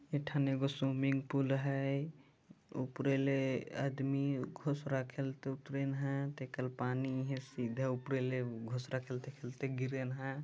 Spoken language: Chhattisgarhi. एक ठन एगो स्विमिंग पुल है उपरे ले आदमी खुश रखेले तो उतरिन है एकल पानी सीधे उपरे ले घुस रा खेलते खेलते गिरन ह।